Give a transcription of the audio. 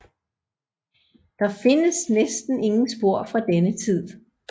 Der findes næsten ingen spor fra denne tid